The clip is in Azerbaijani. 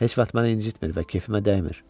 Heç vaxt məni incitmir və kefimə dəymir.